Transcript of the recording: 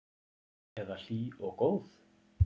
Eða hlý og góð?